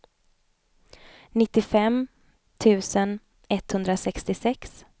nittiofem tusen etthundrasextiosex